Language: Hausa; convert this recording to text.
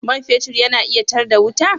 Man fetur yana iya tar da wuta?